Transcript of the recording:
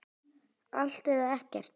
Allt eða ekkert.